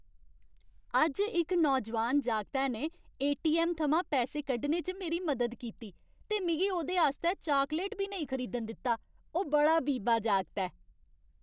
अज्ज इक नौजोआन जागतै ने ए.टी.ऐम्म. थमां पैसे कड्ढने च मेरी मदद कीती ते मिगी ओह्दे आस्तै चॉकलेट बी नेईं खरीदन दित्ता। ओह् बड़ा बीबा जागत ऐ।